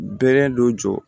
Bɛrɛ dɔ jɔ